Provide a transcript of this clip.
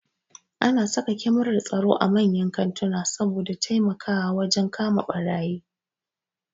Ana saka kyamarar tsaro a manyan kantuna saboda su taimaka wajen kama ɓarayi